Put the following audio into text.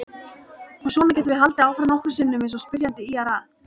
Og svona getum við haldið áfram nokkrum sinnum eins og spyrjandi ýjar að.